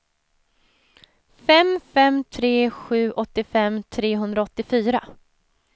fem fem tre sju åttiofem trehundraåttiofyra